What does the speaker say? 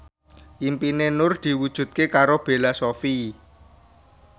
impine Nur diwujudke karo Bella Shofie